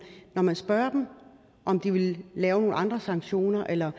og man kan spørge dem om de vil lave nogle andre sanktioner eller